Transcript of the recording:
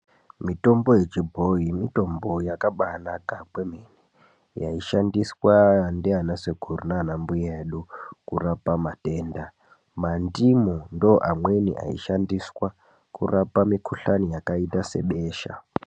Mitombo yechibhoyi mitombo yakabanaka kwemene yaishandiswa ndana sekuru nanambuya edu kurapa matenda. Mandimu ndiwo amweni aishandiswa kurapa mikhuhlane yakaita sebesha.